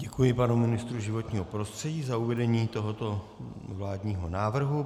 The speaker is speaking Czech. Děkuji panu ministru životního prostředí za uvedení tohoto vládního návrhu.